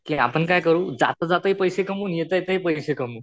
कि आपण काय करू जाता जाताही पैसे कमवू आणि येता येतात हि पैसे कमवू.